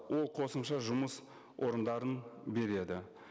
ол қосымша жұмыс орындарын береді